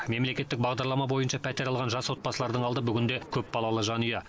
мемлекеттік бағдарлама бойынша пәтер алған жас отбасылардың алды бүгінде көпбалалы жанұя